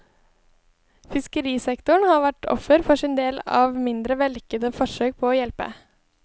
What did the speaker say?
Fiskerisektoren har vært offer for sin del av mindre vellykkede forsøk på å hjelpe.